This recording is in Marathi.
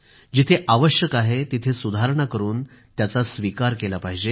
जिथं आवश्यक आहे तिथं सुधारणा करून त्याचा स्वीकार केला पाहिजे